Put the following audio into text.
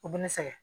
U bɛ ne sɛgɛn